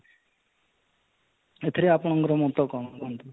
ଏଥିରେ ଆପଣଙ୍କର ମତ କ'ଣ କୁହନ୍ତୁ?